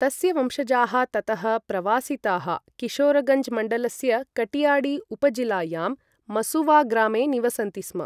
तस्य वंशजाः ततः प्रवासिताः किशोरगञ्ज् मण्डलस्य कटियाडि उपजिलायां मसुवा ग्रामे निवसन्ति स्म।